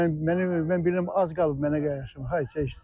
Mən bilirəm az qalıb mənə gəlməyə.